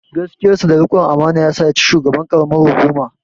Gaskiyarsa da rikon amana yasa ya ci shugaban ƙaramar hukuma.